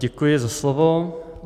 Děkuji za slovo.